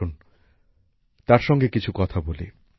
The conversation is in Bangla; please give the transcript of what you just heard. আসুন তাঁর সাথে কিছু কথা বলি